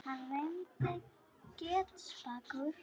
Hann reyndist getspakur.